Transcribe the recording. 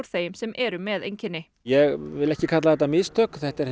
þeim sem eru með einkenni ég vil ekki kalla þetta mistök þetta er